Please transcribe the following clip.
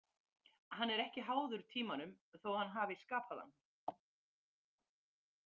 Hann er ekki háður tímanum þó að hann hafi skapað hann .